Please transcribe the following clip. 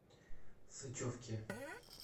сычевке